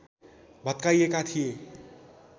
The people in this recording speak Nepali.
भत्काइएका थिए